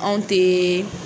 Anw tɛ